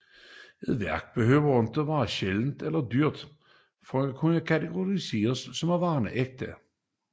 Et værk behøver ikke at være sjældent eller dyrt for at kunne katalogiseres som ægte